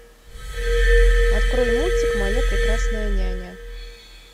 открой мультик моя прекрасная няня